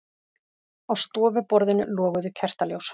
Á stofuborðinu loguðu kertaljós.